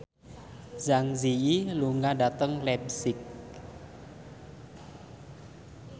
Zang Zi Yi lunga dhateng leipzig